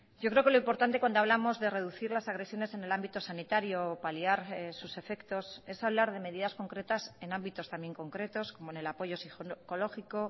yo creo que lo importante cuando hablamos de reducir las agresiones en el ámbito sanitario paliar sus efectos es hablar de medidas concretas en ámbitos también concretos como en el apoyo psicológico